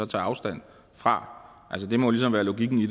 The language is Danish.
tager afstand fra det må ligesom være logikken i